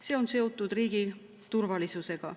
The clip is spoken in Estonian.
See on seotud riigi turvalisusega.